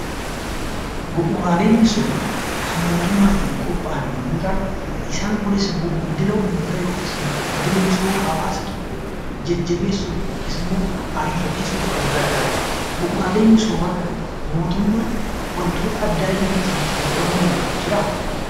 Bu'uuraaleen misoomaa kan mootummaatiin qopha'an yammuu ta'an isaan Kunis immoo guddina uummataaf yookiin immoo guddina misooma hawwaasa biyya tokkoo jajjabeessuu yookiin immoo ariifachiisuuf kan gargaaranii dha. Bu'uuraalee misoomaa kanneen akka mootummaan wantoota addaa inni ittiin itti fayyadamu danda'u jiraa?